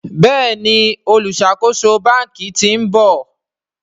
Béèni oluṣakoso bánkì t'in bò.